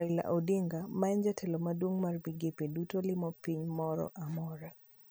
Raila odinga maen jatelo maduong mar migepe duto limo piny moro amora